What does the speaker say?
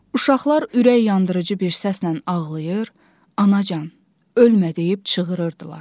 Uşaqlar ürək yandırıcı bir səslə ağlayır, anacan, ölmə deyib çığırırdılar.